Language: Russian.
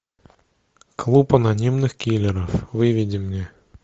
клуб анонимных киллеров выведи мне